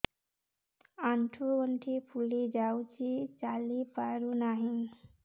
ଆଂଠୁ ଗଂଠି ଫୁଲି ଯାଉଛି ଚାଲି ପାରୁ ନାହିଁ